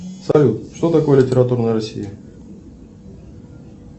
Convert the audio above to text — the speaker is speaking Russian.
салют что такое литературная россия